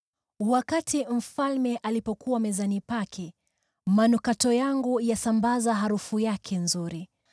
Wakati mfalme alipokuwa mezani pake, manukato yangu yalisambaza harufu yake nzuri.